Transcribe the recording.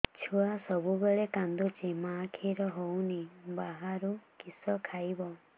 ଛୁଆ ସବୁବେଳେ କାନ୍ଦୁଚି ମା ଖିର ହଉନି ବାହାରୁ କିଷ ଖାଇବ